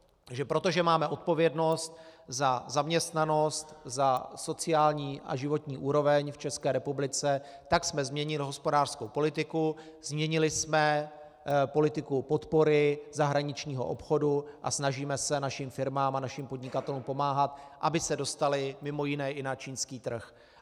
Takže protože máme odpovědnost za zaměstnanost, za sociální a životní úroveň v České republice, tak jsme změnili hospodářskou politiku, změnili jsme politiku podpory zahraničního obchodu a snažíme se našim firmám a našim podnikatelům pomáhat, aby se dostali mimo jiné i na čínský trh.